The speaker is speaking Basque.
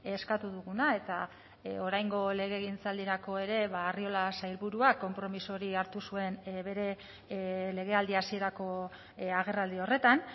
eskatu duguna eta oraingo legegintzaldirako ere arriola sailburuak konpromiso hori hartu zuen bere legealdi hasierako agerraldi horretan